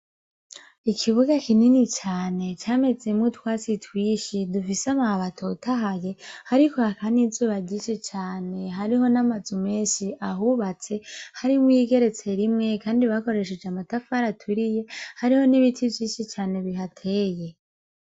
Ikibuga kinini cane camezemwo utwatsi twishi dufise amababi atotahaye hariko hakan’izuba ryinshi cane hariho n'amazu menshi ahubatse harimwo yigeretse rimwe, kandi bakoresheje amatafari aturiye hariho n'ibiti vyishi cane bihateye.